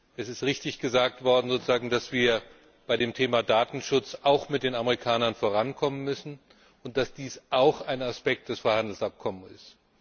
Es ist richtig gesagt worden, dass wir bei dem Thema Datenschutz auch mit den Amerikanern vorankommen müssen und dass dies auch ein Aspekt des Freihandelsabkommens ist.